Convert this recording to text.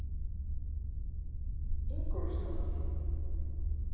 Ingólfstorgi